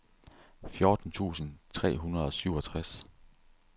fjorten tusind tre hundrede og syvogtres